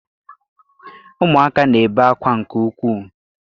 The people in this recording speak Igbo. Ụmụaka na-ebe ákwá nke ukwuu